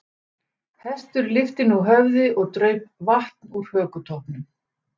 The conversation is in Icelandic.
Hestur lyfti nú höfði og draup vatn úr hökutoppnum.